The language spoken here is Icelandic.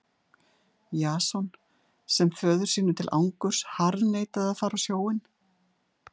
Jason sem föður sínum til angurs harðneitaði að fara á sjóinn.